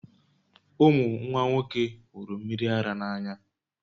Ụmụ nwa nwoke hụrụ mmiri ara n'anya